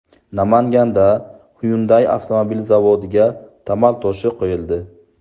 Namanganda Hyundai avtomobil zavodiga tamal toshi qo‘yildi .